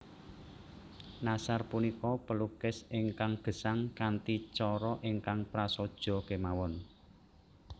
Nashar punika pelukis ingkang gesang kanthi cara ingkang prasaja kemawon